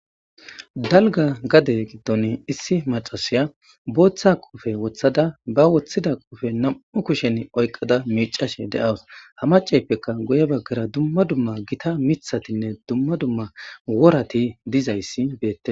Dalga gade giddon issi macasiya booththa qofe wothada ba woththida qofe nam7u kushen oyqada miicashe de7awus ha macaypeka guye baggara dumma dumma gita mithatinne dumma dumma worati dizayssi beette.